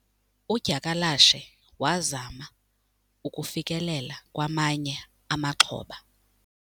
Udyakalashe wazama ukufikelela kwamanye amaxhoba.